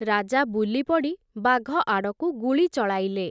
ରାଜା ବୁଲିପଡ଼ି, ବାଘ ଆଡ଼କୁ ଗୁଳି ଚଳାଇଲେ ।